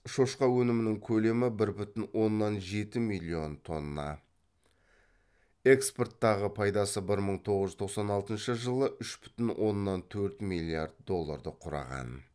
шошқа өнімінің көлемі бір бүтін оннан жеті миллион тонна экспорттағы пайдасы бір мың тоғыз жүз тоқсан алтыншы жылы үш бүтін оннан төрт миллиард долларды құраған